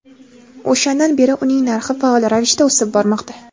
O‘shandan beri uning narxi faol ravishda o‘sib bormoqda.